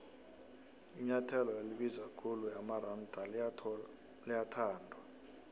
inuathelo elibiza ikhulu yamaronda liyathandwa